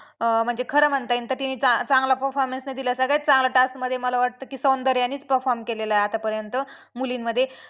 अं म्हणजे खरं म्हणता येईन तर तिने चांगला performance दिला सारखं चांगल्या task मध्ये मला वाटतं की सौंदर्यानेच performe केलेला आहे आतापर्यंत मुलींमध्ये.